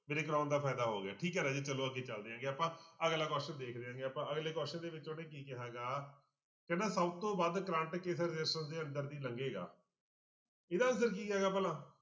ਮੇਰੇ ਕਰਵਾਉਣ ਦਾ ਫ਼ਾਇਦਾ ਹੋ ਗਿਆ ਠੀਕ ਹੈ ਰਾਜੇ ਚਲੋ ਅੱਗੇ ਚੱਲਦੇ ਹੈਗੇ ਆਪਾਂ ਅਗਲਾ question ਦੇਖ ਲੈਂਦੇ ਆਪਾਂ ਅਗਲੇ question ਦੇ ਵਿੱਚ ਉਹਨੇ ਕੀ ਕਿਹਾ ਗਾ, ਕਹਿੰਦਾ ਸਭ ਤੋਂ ਵੱਧ ਕਰੰਟ ਕਿਸ resistance ਦੇ ਅੰਦਰ ਦੀ ਲੰਗੇਗਾ ਇਹਦਾ answer ਕੀ ਆਏਗਾ ਭਲਾ।